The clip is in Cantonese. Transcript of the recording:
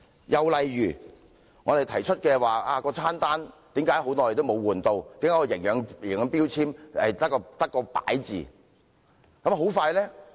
又例如我們提出囚友餐單為何長期沒有更換、營養標籤只是門面工夫。